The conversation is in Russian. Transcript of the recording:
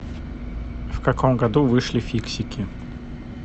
в каком году вышли фиксики